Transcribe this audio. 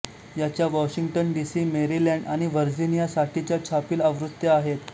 याच्या Washington D C Maryland आणि Virginia साठीच्या छापील आवृत्त्या आहेत